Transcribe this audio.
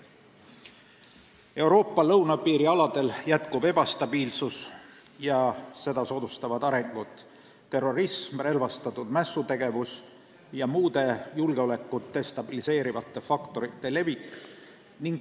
Euroopa lõunapiiri aladel jätkub ebastabiilsus ja seda soodustavad arengud: terrorism, relvastatud mässutegevus ja muude julgeolekut destabiliseerivate faktorite levik.